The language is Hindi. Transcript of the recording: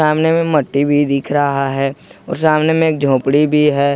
सामने में मट्टी भी दिख रहा है और सामने में एक झोपड़ी भी है।